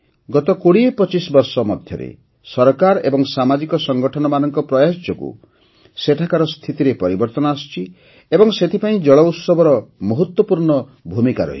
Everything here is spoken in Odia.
ଗତ ୨୦୨୫ ବର୍ଷ ଭିତରେ ସରକାର ଏବଂ ସାମାଜିକ ସଂଗଠନମାନଙ୍କ ପ୍ରୟାସ ଯୋଗୁଁ ସେଠାକାର ସ୍ଥିତିରେ ପରିବର୍ତ୍ତନ ଆସିଛି ଏବଂ ସେଥିପାଇଁ ଜଳ ଉତ୍ସବର ମହତ୍ତ୍ୱପୂର୍ଣ୍ଣ ଭୂମିକା ରହିଛି